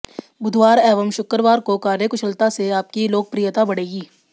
बुधवार एवं शुक्रवार को कार्यकुशलता से आपकी लोकप्रियता बढ़ेगी